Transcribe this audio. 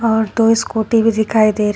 और दो स्कूटी भी दिखाई दे रही--